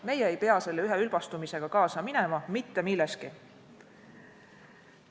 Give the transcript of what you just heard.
Meie ei pea selle üheülbastumisega kaasa minema, mitte millestki.